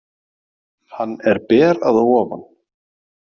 Hann er ber að ofan.